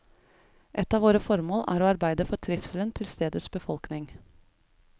Et av våre formål er å arbeide for trivselen til stedets befolkning.